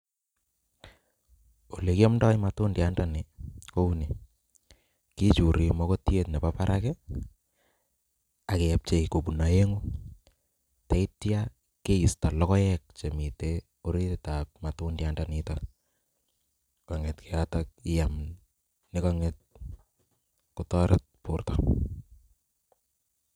Olekiomndo matundiandani kouni, kichuri mokotiet nebo barak ak kepchei kobun oengu, yeityo keisto lokoek chemiten ng'orietab matundiandanitok kong'et yotok iyam nekong'et kotoret borto.